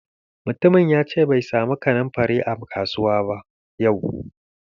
Mutumin yace bai samu kanunfari a kasuwa ba yau.